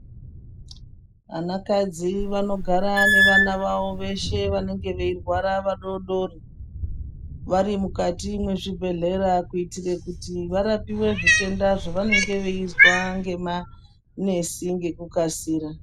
Vanakadzi vanogara nevana vavo veshe vanenge veirwara vadodori vari mukati mezvi bhedhlera kuitira kuti varapiwe zvitenda zvavanenge veizwa nemanesi ngekukasira.